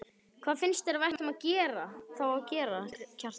Hvað finnst þér að við ættum þá að gera, Kjartan?